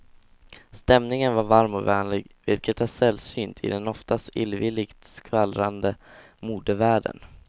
Stämningen var varm och vänlig, vilket är sällsynt i den oftast illvilligt skvallrande modevärlden.